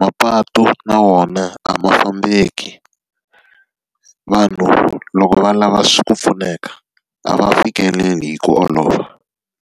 mapatu na wona a ma fambeki. Vanhu loko va lava ku pfuneka, a va fikeleli hi ku olova.